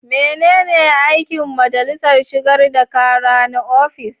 Menene aikin majalisar shigar da kara na ofis?